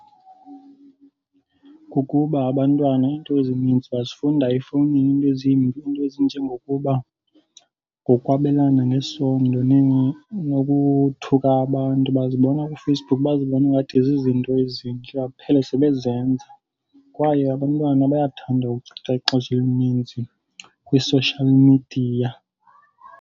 Kukuba abantwana iinto ezininzi bazifunda efowunini, iinto ezimbi, iinto ezinjengokuba ngokwabelana ngesondo nokuthuka abantu bazibona kuFacebook. Bazibone ingathi zizinto ezintle, baphele sebezenza. Kwaye abantwana bayathanda uchitha ixesha elininzi kwi-social media.